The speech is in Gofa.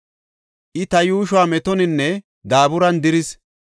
I, ta yuushuwa metoninne daaburan diris.